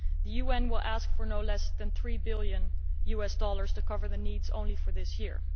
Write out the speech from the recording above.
The UN will ask for no less than USD three billion to cover the needs only for this year.